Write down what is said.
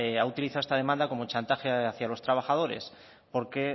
ha utilizado esta demanda como chantaje hacía los trabajadores porque